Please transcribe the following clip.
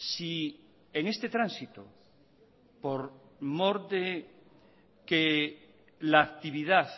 si en este tránsito por mor de que la actividad